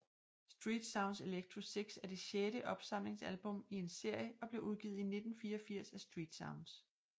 Street Sounds Electro 6 er det sjette opsamlingsalbum i en serie og blev udgivet i 1984 af StreetSounds